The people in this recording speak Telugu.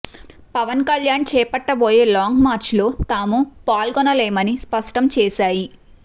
పవన్ కళ్యాణ్ చేపట్టబోయే లాంగ్ మార్చ్ లో తాము పాల్గొనలేమని స్పష్టం చేశాయి